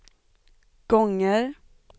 gånger